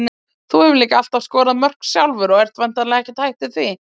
Þú hefur líka alltaf skorað mörk sjálfur og ert væntanlega ekkert hættur því?